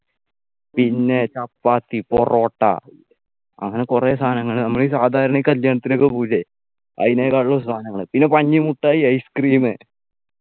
പിന്നെ ചപ്പാത്തി പൊറോട്ട അങ്ങനെ കുറെ സാധനങ്ങൾ നമ്മൾ ഈ സാധാരണ ഈ കല്യാണത്തിനൊക്കെ പോകൂലെ അതിനെക്കാളും സാധനങ്ങൾ പിന്നെ പഞ്ഞി മുട്ടായി ice cream